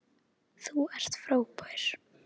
Þú ert frábær.